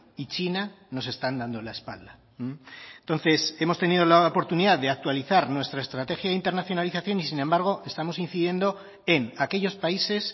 y china nos están dando la espalda entonces hemos tenido la oportunidad de actualizar nuestra estrategia de internacionalización y sin embargo estamos incidiendo en aquellos países